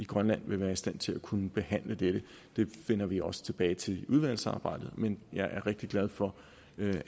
grønland vil være i stand til at kunne behandle dette det vender vi også tilbage til i udvalgsarbejdet men jeg er rigtig glad for